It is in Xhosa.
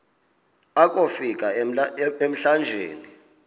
akofi ka emlanjeni